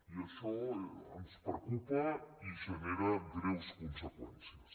i això ens preocupa i ge·nera greus conseqüències